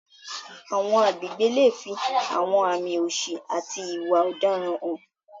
Àwọn agbègbè lè fi àwọn àmì òṣì àti ìwà ọ̀daràn hàn.